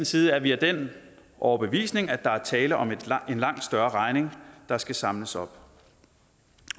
side er vi af den overbevisning at der er tale om en langt større regning der skal samles op